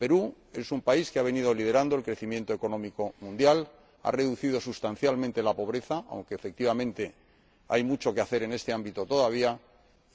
El Perú es un país que ha venido liderando el crecimiento económico mundial, ha reducido sustancialmente la pobreza —aunque efectivamente hay mucho que hacer en este ámbito todavía—